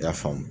I y'a faamu